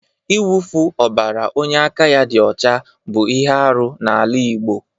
Ịwụfu ọbara onye aka ya dị ọcha bụ ihe arụ n'ala Igbo.